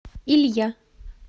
илья